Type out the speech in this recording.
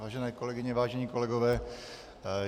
Vážené kolegyně, vážení kolegové.